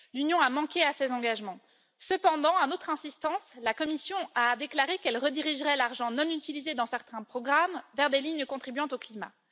L'Union a manqué à ses engagements. Cependant, à notre insistance, la Commission a déclaré qu'elle redirigerait l'argent non utilisé dans certains programmes vers des lignes contribuant au climat.